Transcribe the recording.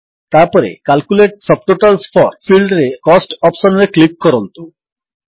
ତାପରେ calculate subtotals for ଫିଲ୍ଡରେ cost option ରେ କ୍ଲିକ୍ କରନ୍ତୁ